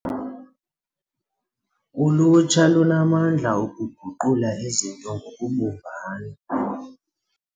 Ulutsha lunamandla okuguqula izinto ngokubumbana.